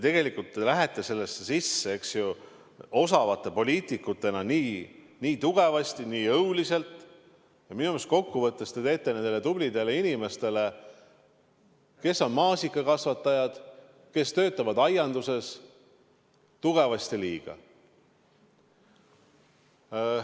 Tegelikult te lähete osavate poliitikutena nendesse sisse nii tugevasti, nii jõuliselt, et minu arust kokkuvõttes te teete nendele tublidele inimestele, kes on maasikakasvatajad, kes töötavad aianduses, tugevasti liiga.